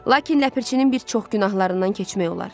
Lakin Ləpirçinin bir çox günahlarından keçmək olar.